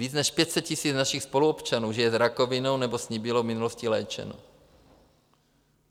Víc než 500 000 našich spoluobčanů žije s rakovinou nebo s ní bylo v minulosti léčeno.